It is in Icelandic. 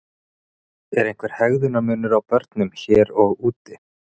En er einhver hegðunar munur á börnum hér og úti?